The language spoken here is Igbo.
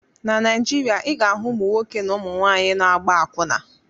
Na Naijiria, ị ga-ahụ ụmụnwoke na ụmụnwaanyị na-agba akwụna.